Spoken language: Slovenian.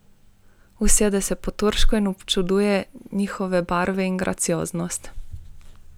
Usede se po turško in občuduje njihove barve in gracioznost.